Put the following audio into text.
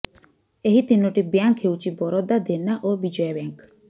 ଏହି ତିନୋଟି ବ୍ୟାଙ୍କ ହେଉଛି ବରୋଦା ଦେନା ଓ ବିଜୟା ବ୍ୟାଙ୍କ